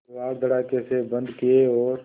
किवाड़ धड़ाकेसे बंद किये और